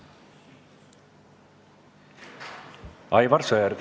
Aivar Sõerd.